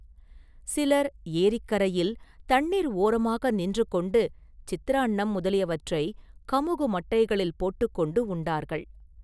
சிலர் ஏரிக்கரையில் தண்ணீர் ஓரமாக நின்று கொண்டு, சித்திரான்னம் முதலியவற்றைக் கமுகு மட்டைகளில் போட்டுக் கொண்டு உண்டார்கள்.